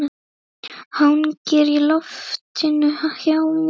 Hangir í loftinu hjá mér.